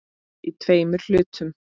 Í tveimur hlutum.